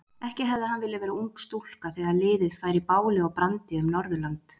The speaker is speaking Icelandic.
Ekki hefði hann viljað vera ung stúlka þegar liðið færi báli og brandi um Norðurland.